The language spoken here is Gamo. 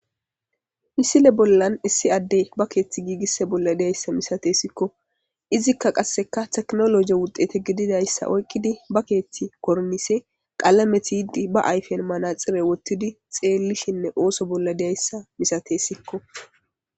Misile bollan issi adde ba keeththi giigisse bolla deyayssa misatesikko izikka qasseka teknoloje wudete gididayssa oyqqidi ba keethti kornise qalameti yidi ba ayfen manaxire wottidi xeellishinne ooso bolla deyayssa misatesikko.